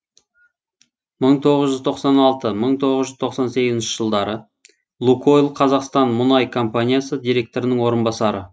мың тоғыз жүз тоқсан алты мың тоғыз жүз тоқсан сегізінші жылдары лукойл қазақстан мүнай компаниясы директорының орынбасары